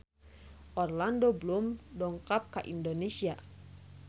Orlando Bloom dongkap ka Indonesia